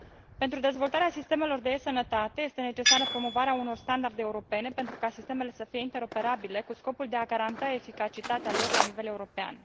Pentru dezvoltarea sistemelor de e Sănătate este necesară promovarea unor standarde europene, pentru ca sistemele să fie interoperabile, cu scopul de a garanta eficacitatea lor la nivel european.